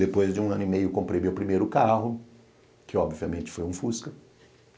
Depois de um ano e meio comprei meu primeiro carro, que obviamente foi um fusca.